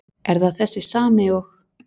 Er það þessi sami og.